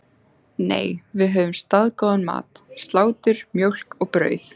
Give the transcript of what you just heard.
Nei, við höfðum staðgóðan mat: Slátur, mjólk og brauð.